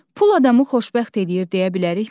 Pul adamı xoşbəxt eləyir deyə bilərikmi?